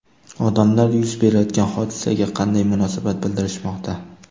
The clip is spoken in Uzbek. Odamlar yuz berayotgan hodisaga qanday munosabat bildirishmoqda?